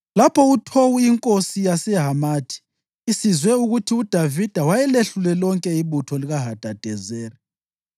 Lapho uTowu inkosi yaseHamathi isizwe ukuthi uDavida wayelehlule lonke ibutho likaHadadezeri,